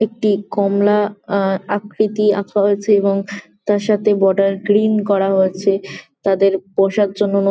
একটি কমলা আহ আকৃতি আঁকা হয়েছে এবং তার সাথে বর্ডার গ্রিন করা হয়েছে তাদের বসার জন্য ন--